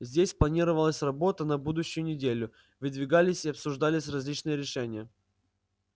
здесь планировалась работа на будущую неделю выдвигались и обсуждались различные решения